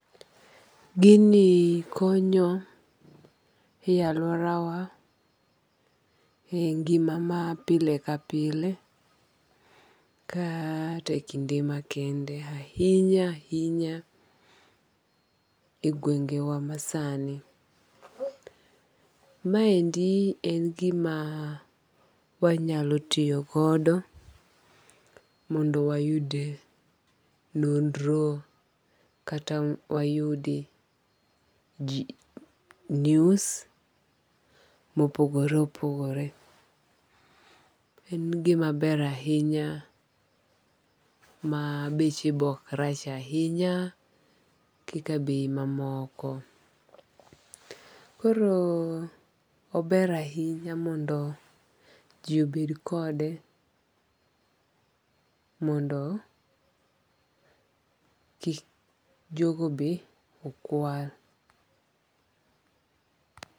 Gini konyo e aluora wa e ngima ma pile ka pile ka tek ngima kende ahinya ahinya e gwenge wa ma sani. Ma endi en gima wanyalo tiyo godo mondo wayud nonro kata wayudi news mopogore opogore. En gima ber ahinya ma beche bok rach ahinya kaka bei ma moko. Koro ober ahinya mondo ji obed kode mondo kik jogo be okwal.